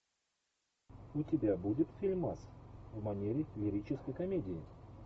у тебя будет фильмас в манере лирической комедии